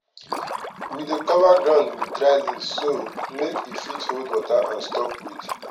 we dey cover ground with dry leaf so make e fit hold water and stop weed.